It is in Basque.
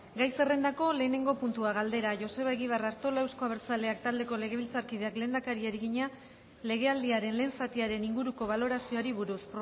gai zerrendako lehenengo puntua galdera joseba egibar artola euzko abertzaleak taldeko legebiltzarkideak lehendakariari egina legealdiaren lehen zatiaren inguruko balorazioari buruz